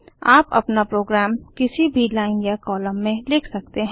आप अपना प्रोग्राम किसी भी लाइन या कॉलम से लिख सकते हैं